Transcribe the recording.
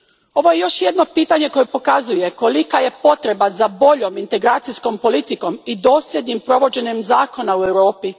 Ovo je još jedno pitanje koje pokazuje kolika je potreba za boljom integracijskom politikom i dosljednim provođenjem zakona u Europi.